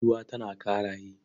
Bintuwa tana Ƙaraye.